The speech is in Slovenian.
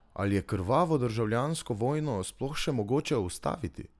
Ali je krvavo državljansko vojno sploh še mogoče ustaviti?